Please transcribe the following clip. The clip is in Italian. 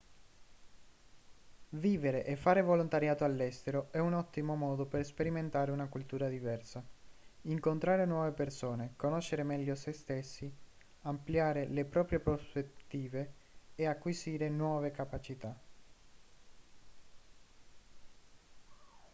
vivere e fare volontariato all'estero è un ottimo modo per sperimentare una cultura diversa incontrare nuove persone conoscere meglio se stessi ampliare le proprie prospettive e acquisire nuove capacità